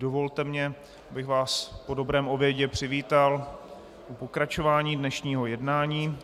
Dovolte mi, abych vás po dobrém obědě přivítal u pokračování dnešního jednání.